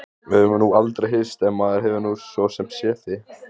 Við höfum nú aldrei hist en maður hefur nú svo sem séð þig.